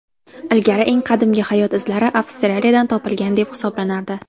Ilgari eng qadimgi hayot izlari Avstraliyadan topilgan deb hisoblanardi.